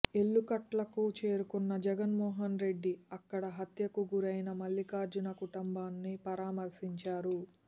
ఎల్లుకట్లకు చేరుకున్న జగన్మోహన్ రెడ్డి అక్కడ హత్యకు గురైన మల్లిఖార్జున కుటుంబాన్ని పరామర్శించారు